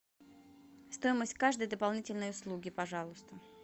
стоимость каждой дополнительной услуги пожалуйста